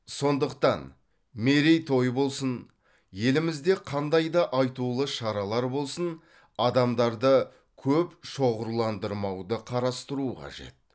сондықтан мерейтой болсын елімізде қандай да айтулы шаралар болсын адамдарды көп шоғырландырмауды қарастыру қажет